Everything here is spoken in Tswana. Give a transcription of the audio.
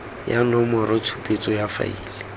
ya nomoro tshupetso ya faele